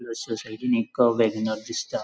तेचा साइडीन एक वेगनर दिसता.